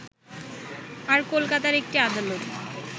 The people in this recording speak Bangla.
আর কলকাতার একটি আদালত